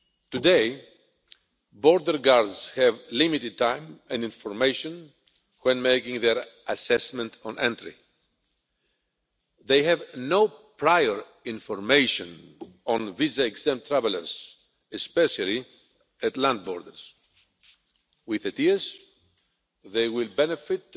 Today, border guards have limited time and information when making their assessment on entry. They have no prior information on visa exempt travellers, especially at land borders. With ETIAS they will benefit